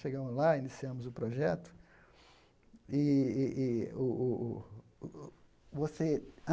Chegamos lá, iniciamos o projeto. ih ih ih o o o o você